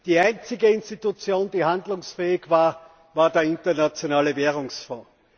Die einzige Institution, die handlungsfähig war, war der Internationale Währungsfonds.